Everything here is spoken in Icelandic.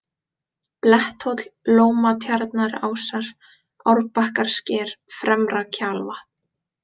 Bletthóll, Lómatjarnarásar, Árbakkasker, Fremra-Kjalvatn